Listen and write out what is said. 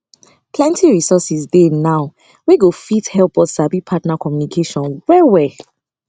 plenty resources dey now wey go fit help us sabi partner communication well well